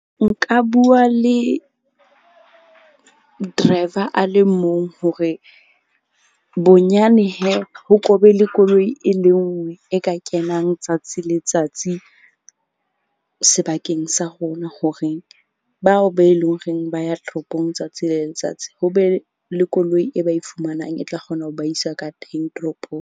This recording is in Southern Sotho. Nka bua le driver a le mong hore bonyane ho ko be le koloi e le nngwe, e ka kenang tsatsi le tsatsi sebakeng sa rona. Horeng bao be leng horeng ba ya toropong letsatsi le letsatsi. Ho be le koloi e ba e fumanang, e tla kgona ho ba isa ka teng toropong.